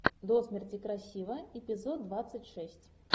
до смерти красива эпизод двадцать шесть